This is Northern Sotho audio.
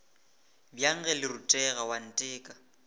bjang ge le rutega oanteka